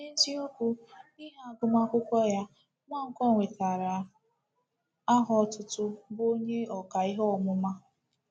N’eziokwu, n’ihi agụmakwụkwọ ya, Nwankwo nwetara aha otutu bụ́ Onye Ọkà Ihe Ọmụma.